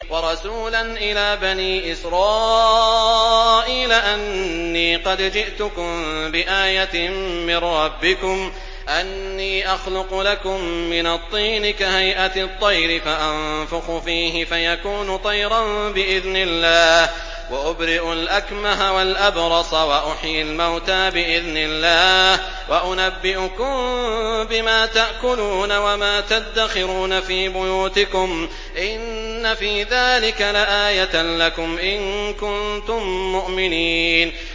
وَرَسُولًا إِلَىٰ بَنِي إِسْرَائِيلَ أَنِّي قَدْ جِئْتُكُم بِآيَةٍ مِّن رَّبِّكُمْ ۖ أَنِّي أَخْلُقُ لَكُم مِّنَ الطِّينِ كَهَيْئَةِ الطَّيْرِ فَأَنفُخُ فِيهِ فَيَكُونُ طَيْرًا بِإِذْنِ اللَّهِ ۖ وَأُبْرِئُ الْأَكْمَهَ وَالْأَبْرَصَ وَأُحْيِي الْمَوْتَىٰ بِإِذْنِ اللَّهِ ۖ وَأُنَبِّئُكُم بِمَا تَأْكُلُونَ وَمَا تَدَّخِرُونَ فِي بُيُوتِكُمْ ۚ إِنَّ فِي ذَٰلِكَ لَآيَةً لَّكُمْ إِن كُنتُم مُّؤْمِنِينَ